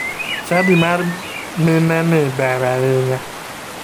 Chadi mar mineni ber ahinya.